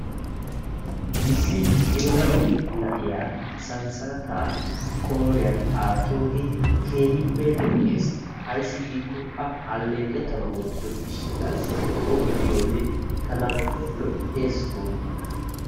Issi geela'o na'iya sanssalataa qooriyan aattoogee keehippe lo'ees. Ayssi giikko A alleqettanaassi wottido gishshataassi O be'iyode tana lo"ees gooppa!